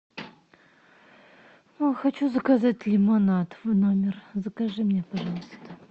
хочу заказать лимонад в номер закажи мне пожалуйста